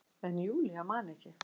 En Júlía man ekki.